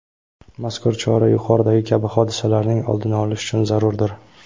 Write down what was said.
mazkur chora yuqoridagi kabi hodisalarning oldini olish uchun zarurdir.